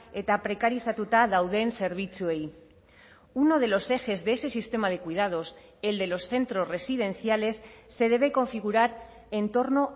eta prekarizatuta dauden zerbitzuei uno de los ejes de ese sistema de cuidados el de los centros residenciales se debe configurar en torno